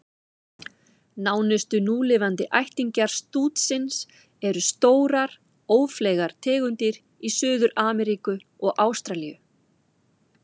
Nánustu núlifandi ættingjar stútsins eru stórar, ófleygar tegundir í Suður-Ameríku og Ástralíu.